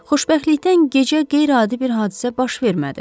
Xoşbəxtlikdən gecə qeyri-adi bir hadisə baş vermədi.